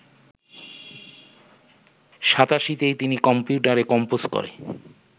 ৮৭তেই তিনি কম্পিউটারে কম্পোজ করে